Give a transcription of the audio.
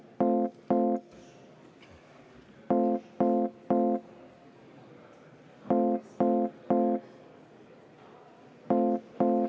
V a h e a e g